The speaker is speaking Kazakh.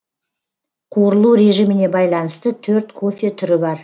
қуырылу режиміне байланысты төрт кофе түрі бар